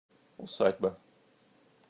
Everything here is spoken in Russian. усадьба